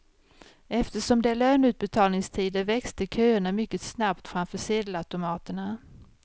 Eftersom det är löneutbetalningstider växte köerna mycket snabbt framför sedelautomaterna.